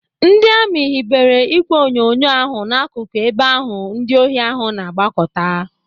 Ndị amị hibere ìgwè onyonyo ahụ n'akụkụ ebe ahụ ndị ohi ahụ na-agbakọta.